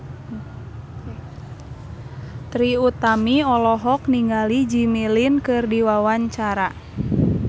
Trie Utami olohok ningali Jimmy Lin keur diwawancara